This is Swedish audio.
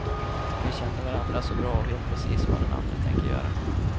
Vi känner varandra så bra och vet precis vad den andra tänker göra.